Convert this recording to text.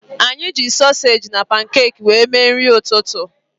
Anyị ji sosage na pankeki wéré mee nri ụtụtụ